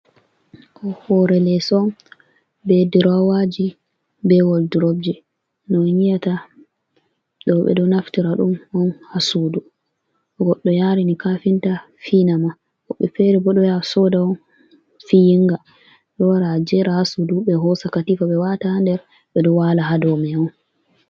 Hoore leeso, be durowaaji be woldurobji, no on nyiyata ɗo. Ɓe ɗo naftira ɗum on haa suudu. To goɗɗo yaarina kafinta finama, woɓɓe feere bo, ɗo yaha sooda on fiyinga, ɗo wara a jeera haa suudu, ɓe hoosa katiifa ɓe waata nder, ɓe ɗo waala haa dow may on.